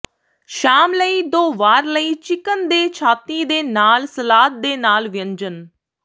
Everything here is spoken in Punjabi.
ਸ਼ਾਮ ਲਈ ਦੋ ਵਾਰ ਲਈ ਚਿਕਨ ਦੇ ਛਾਤੀ ਦੇ ਨਾਲ ਸਲਾਦ ਦੇ ਨਾਲ ਵਿਅੰਜਨ